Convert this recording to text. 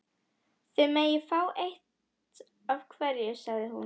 Þið megið fá eitt af hverju sagði hún.